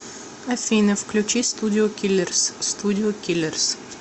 афина включи студио киллерс студио киллерс